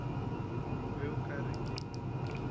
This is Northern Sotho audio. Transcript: be o ka re ke